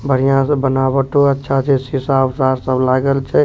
बढ़िया से बनावटो अच्छा छै सीसा-उसा लागल छै।